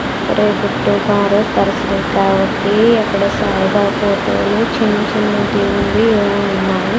ఇక్కడే కుట్టి కారే పరసరం కాబట్టి అక్కడ సాయిబాబాతోనే చిన్న చిన్నదీ ఉంది ఏమో ఉన్నాయి.